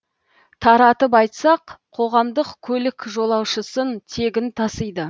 таратып айтсақ қоғамдық көлік жолаушысын тегін тасиды